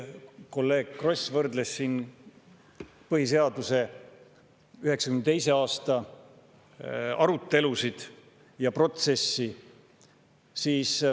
Kolleeg Kross tõi võrdluseks 1992. aasta põhiseaduse arutelud ja protsessi.